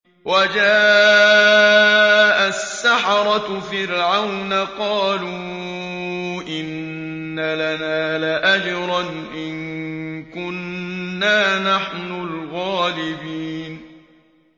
وَجَاءَ السَّحَرَةُ فِرْعَوْنَ قَالُوا إِنَّ لَنَا لَأَجْرًا إِن كُنَّا نَحْنُ الْغَالِبِينَ